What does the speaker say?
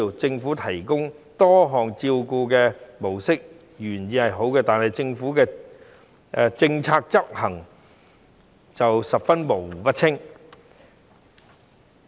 政府提供多項照顧模式的原意是好的，但政府的政策執行卻模糊不清。